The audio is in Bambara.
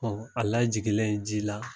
Ɔ a lajiginnen ji la